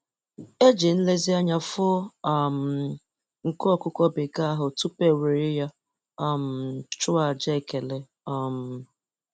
E ji nlezianya foo um nku ọkụkọ bekee ahụ tupu ewere ya um chụọ àjà ekele. um